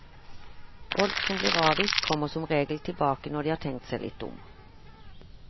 Folk som blir avvist kommer som regel tilbake når de har tenkt seg litt om.